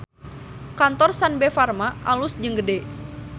Kantor Sanbe Farma alus jeung gede